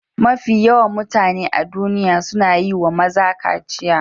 Mafi yawan mutane a duniya suna yi wa maza kaciya.